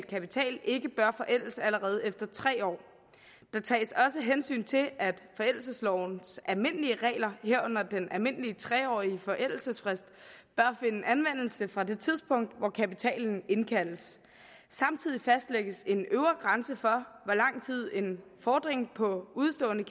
kapital ikke bør forældes allerede efter tre år der tages også hensyn til at forældelseslovens almindelige regler herunder den almindelige tre årige forældelsesfrist bør finde anvendelse fra det tidspunkt hvor kapitalen indkaldes samtidig fastlægges en øvre grænse for hvor lang tid en fordring på udestående